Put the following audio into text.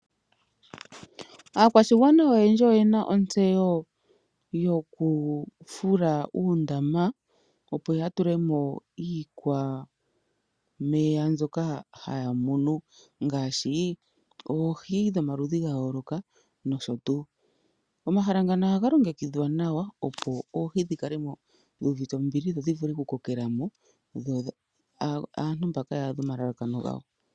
Aakwashigwana oyendji oyena ontseyo yokufula uundama opo yatulemo iikwameya mbyoka haya munu ngaashi oohi dhomaludhi ga yooloka nosho tuu. omahala ngano ohaga longekidhwa nawa opo oohi dhikale mo dhi uvite ombili dho dhivule okukokelamo yo aantu mbaka ya adhe omahala gawo.